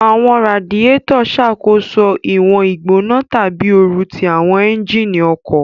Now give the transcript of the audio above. Awọn raadiyetọ ṣakoso iwọn igbona tabi ooru ti awọn ẹnjínì ọkọ